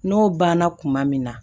N'o banna kuma min na